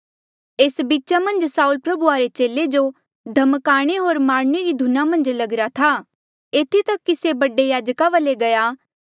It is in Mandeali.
एस बीचा मन्झ साऊल प्रभुया रे चेले जो धमकाणे होर मारणे री धुना मन्झ लगिरा था एथी तक की से बडे याजका वाले गया